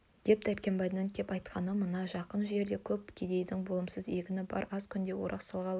деп дәркембайдың кеп айтқаны мына жақын жерде көп кедейдің болымсыз егіні бар аз күнде орақ салғалы